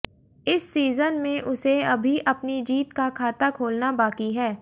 इस सीजन में उसे अभी अपनी जीत का खाता खोलना बाकी है